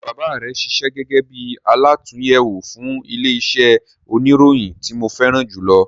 Ṣe bàbá rẹ ṣiṣẹ́ gẹgẹ bí alàtúnyẹwò fún ilẹ iṣẹ oníròyìn ti mo fẹràn julọ?